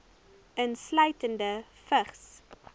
insluitende vigs